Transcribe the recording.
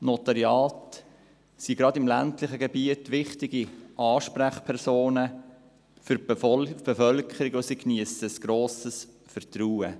Die Notariate sind gerade im ländlichen Gebiet wichtige Ansprechpersonen für die Bevölkerung, und sie geniessen ein grosses Vertrauen.